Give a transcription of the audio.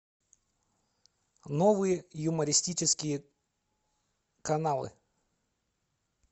новые юмористические каналы